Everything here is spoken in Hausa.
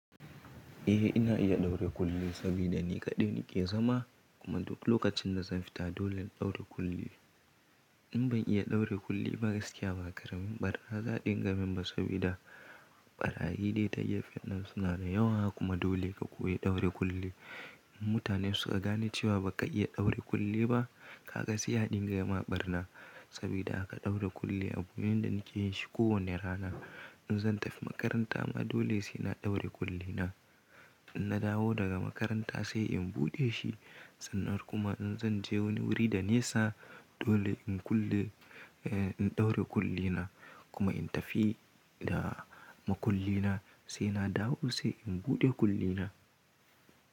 Eh ina iya ɗaure kulli sabida ni kaɗai nake zama kuma duk lokacin da zan fita dole in ɗaure kulli. In ban iya ɗaure kulli ba gaskiya ba makaramin ɓara za dinga min ba sabida ɓarayi dai ta gefen nan suna da yawa kuma dole ka koyi ɗaure kulli. In mutane suka gane cewa baka iya ɗaure kulli ba ka ga sai dinga ma ɓarna sabida haka ɗaure kulli abu ne da nake yin shi kowane rana. In zan tafi makaranta ma dole sai na ɗaure kulli na. In na dawo daga makaranta sai in buɗe shi sannan kuma in zan je wani wuri da nesa dole in kulle eh in ɗaure kulli na kuma in tafi da makulli na sai na dawo sai in buɗe kulli na.